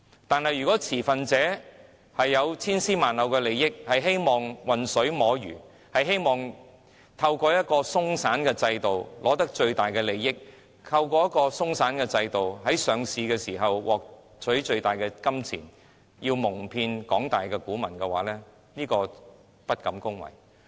但是，若擁有千絲萬縷利益的持份者想混水摸魚，希望透過鬆散的制度以取得最大利益，透過這樣的制度在上市時獲得最多金錢，蒙騙廣大股民，我實在不敢恭維。